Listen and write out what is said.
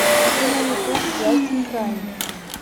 афина ютуб джастин прайм